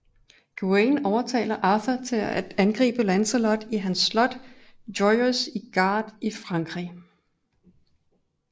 Gawain overtaler Arthur til at angribe Lancelot i hans slot Joyous Gard i Frankrig